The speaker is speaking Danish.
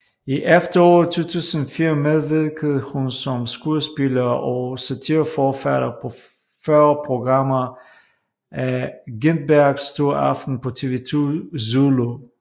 I efteråret 2004 medvirkede hun som skuespiller og satireforfatter på 40 programmer af Gintbergs store aften på TV 2 Zulu